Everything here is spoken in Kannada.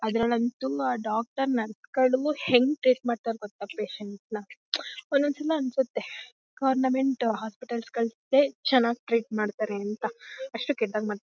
ಅದ್ರಲ್ಲಂತೂ ಆ ಡಾಕ್ಟರ್ ನರ್ಸ್ ಗಳು ಹೆಂಗೆ ಟ್ರೀಟ್ ಮಾಡ್ತಾರೆ ಗೊತ್ತ ಪೇಶನ್ಟ್ಸ್ನ . ಒಂದೊಂದ್ಸಲ ಅನ್ಸತ್ತೆ ಗವರ್ನಮೆಂಟ್ ಹೋಸ್ಪಿಟಲ್ಸ್ ಗಳು ಚೆನ್ನಾಗಿ ಟ್ರೀಟ್ ಮಾಡ್ತಾರೆ ಅಂತ ಅಷ್ಟು ಕೆಟ್ಟದಾಗಿ ಮಾಡ್ --